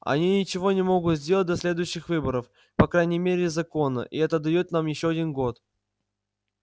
они ничего не могут сделать до следующих выборов по крайней мере законно и это даёт нам ещё один год